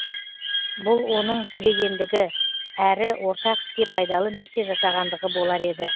бұл оның көрегендігі әрі ортақ іске пайдалы нәрсе жасағандығы болар еді